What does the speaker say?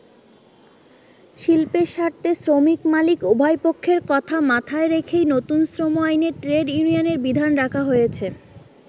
শিল্পের স্বার্থে শ্রমিক-মালিক উভয়পক্ষের কথা মাথায় রেখেই নতুন শ্রম আইনে ট্রেড ইউনিয়নের বিধান রাখা হয়েছে।